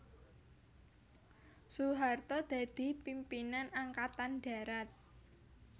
Soeharto dadi pimpinan Angkatan Darat